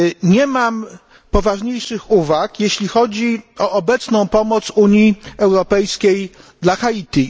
Nie mam poważniejszych uwag, jeśli chodzi o obecną pomoc Unii Europejskiej dla Haiti.